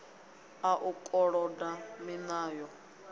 a u koloda miṋa yo